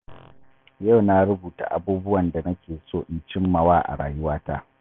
Yau na rubuta abubuwan da nake so in cimmawa a rayuwata.